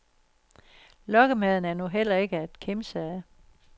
Lokkemaden er nu heller ikke at kimse ad.